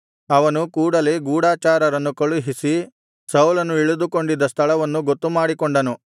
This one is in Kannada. ಅವನು ಕೂಡಲೇ ಗೂಢಚಾರರನ್ನು ಕಳುಹಿಸಿ ಸೌಲನು ಇಳಿದುಕೊಂಡಿದ್ದ ಸ್ಥಳವನ್ನು ಗೊತ್ತುಮಾಡಿಕೊಂಡನು